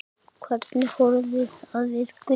Hvernig horfði það við Gulla?